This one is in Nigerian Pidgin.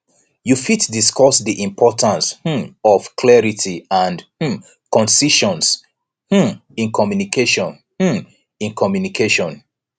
you fit discuss di importance um of clarity and um concision um in communication um in communication